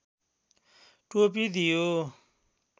टोपी दियो